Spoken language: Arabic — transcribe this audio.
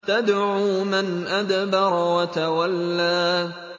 تَدْعُو مَنْ أَدْبَرَ وَتَوَلَّىٰ